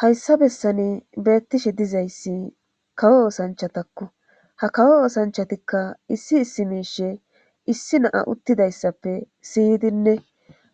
hayssa bessani beettishe dizayssi kawo osanchatakko ha kawo osanchatikka issi issi miishe issi naa uttidayssappe siydinne